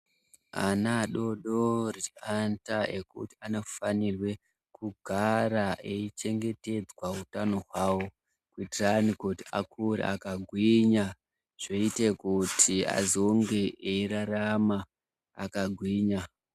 Ana adodori anoita ekuti anofanirwa kugara eichengetedzwa utano hwawo kuitirani kuti akure akagwinya zvoite kuti azonge eirarama akagwinya.